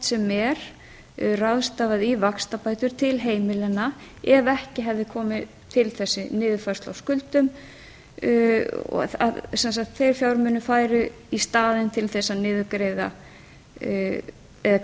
sem er ráðstafað í vaxtabætur til heimilanna ef ekki hefði komið til þessi niðurfærsla á skuldum þeir fjármunir færu í staðinn til þess